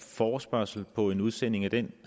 forespørgsel på en udsending af den